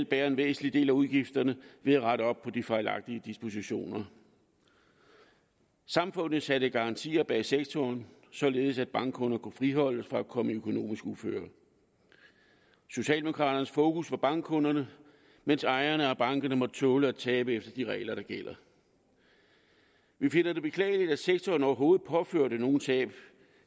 bære en væsentlig del af udgifterne ved at rette op på de fejlagtige dispositioner samfundet satte garantier bag sektoren således at bankkunder kunne friholdes fra at komme i økonomisk uføre socialdemokraterne havde fokus på bankkunderne mens ejerne af bankerne måtte tåle at tabe efter de regler der gælder vi finder det beklageligt at sektoren overhovedet påførte nogen tab